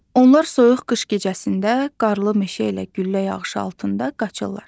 Onlar soyuq qış gecəsində qarlı meşə ilə güllə yağışı altında qaçırlar.